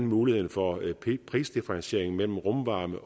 muligheden for prisdifferentiering mellem rumvarme